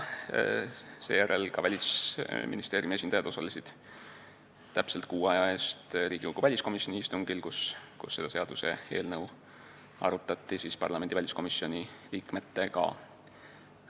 Seejärel osalesid Välisministeeriumi esindajad täpselt kuu aja eest Riigikogu väliskomisjoni istungil, kus seda seaduseelnõu arutati parlamendi väliskomisjoni liikmetega.